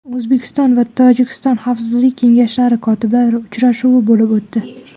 O‘zbekiston va Tojikiston Xavfsizlik kengashlari kotiblari uchrashuvi bo‘lib o‘tdi.